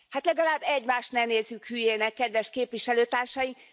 Hát legalább egymást ne nézzük hülyének, kedves képviselőtársaim!